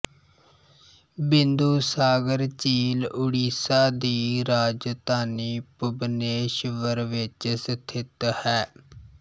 ਬਿੰਦੂਸਾਗਰ ਝੀਲ ਉੜੀਸਾ ਦੀ ਰਾਜਧਾਨੀ ਭੁਬਨੇਸ਼ਵਰ ਵਿੱਚ ਸਥਿਤ ਹੈ